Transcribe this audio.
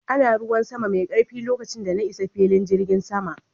Ana ruwan sama mai karfi lokacin da na isa filin jirgin sama